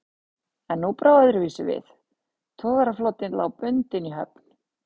En nú brá öðruvísi við, togaraflotinn lá bundinn í höfn.